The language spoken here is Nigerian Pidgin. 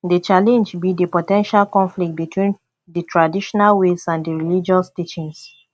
di challenge be di po ten tial conflict between di traditional ways and di religious teachings